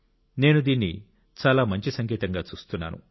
నేను దీన్ని చాలా మంచి సంకేతంగా చూస్తున్నాను